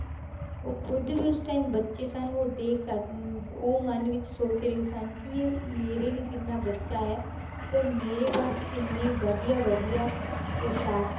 ਉਹ ਖੁੱਦ ਵੀ ਉਸ time ਬੱਚੇ ਸਨ ਉਹ ਦੇ ਸਕ~ ਅਮ ਉਹ ਮਨ ਵਿੱਚ ਸੋਚ ਰਹੇ ਸਨ ਕਿ ਇਹ ਮੇਰੇ ਹੀ ਜਿੰਨਾ ਬੱਚਾ ਹੈ, ਪਰ ਮੇਰੇ ਪਾਸ ਕਿੰਨੇ ਵਧੀਆ ਵਧੀਆ ਪੁਸਾਕ